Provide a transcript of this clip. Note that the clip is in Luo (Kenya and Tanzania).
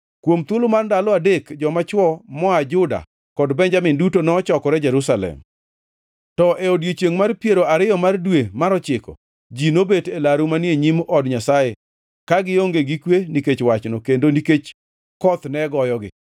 Kuom thuolo mar ndalo adek joma chwo moa Juda kod Benjamin duto nochokore Jerusalem. To e odiechiengʼ mar piero ariyo mar dwe mar ochiko, ji nobet e laru manie nyim od Nyasaye, ka gionge gi kwe nikech wachno kendo nikech koth ne goyogi.